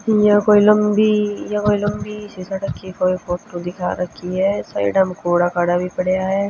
या कोई लंबीया कोई लंबी सी सड़क की कोई फोटू दिखा राखी ह साइडा म कूड़ा काड़ा भी पडया ह।